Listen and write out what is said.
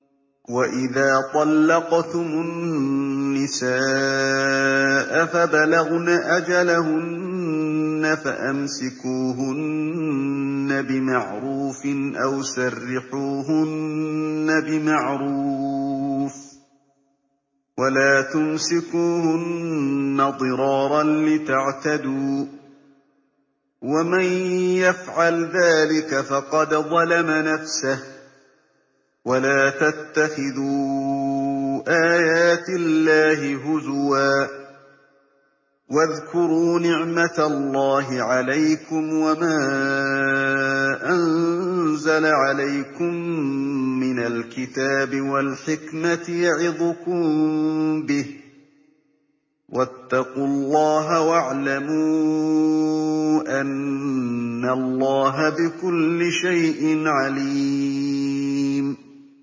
وَإِذَا طَلَّقْتُمُ النِّسَاءَ فَبَلَغْنَ أَجَلَهُنَّ فَأَمْسِكُوهُنَّ بِمَعْرُوفٍ أَوْ سَرِّحُوهُنَّ بِمَعْرُوفٍ ۚ وَلَا تُمْسِكُوهُنَّ ضِرَارًا لِّتَعْتَدُوا ۚ وَمَن يَفْعَلْ ذَٰلِكَ فَقَدْ ظَلَمَ نَفْسَهُ ۚ وَلَا تَتَّخِذُوا آيَاتِ اللَّهِ هُزُوًا ۚ وَاذْكُرُوا نِعْمَتَ اللَّهِ عَلَيْكُمْ وَمَا أَنزَلَ عَلَيْكُم مِّنَ الْكِتَابِ وَالْحِكْمَةِ يَعِظُكُم بِهِ ۚ وَاتَّقُوا اللَّهَ وَاعْلَمُوا أَنَّ اللَّهَ بِكُلِّ شَيْءٍ عَلِيمٌ